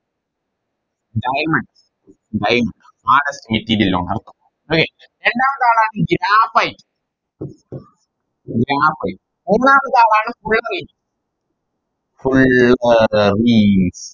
Diamond diamond അതെ രണ്ടാമത്താളാണെങ്കിൽ Graphite Graphite മൂന്നാമത്തളാണ് Fullerene Fullerene